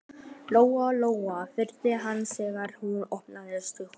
Lóa Lóa horfði á hana þegar hún opnaði skúffuna.